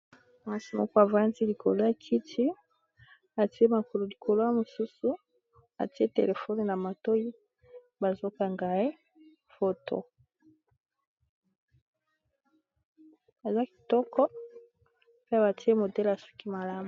Mwasi moko a vandi likolo ya kiti a tié makolo likolo ya mosusu, a tié téléphone na matoyi, bazo kanga ye photo. Aza kitoko pe ba tié modèle ya suki malamu .